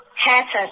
হ্যাঁ স্যার